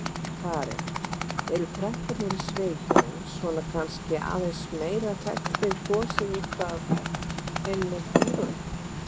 Karen: Eru krakkarnir í sveitunum svona kannski aðeins meira hrædd við gosið útaf einmitt dýrunum?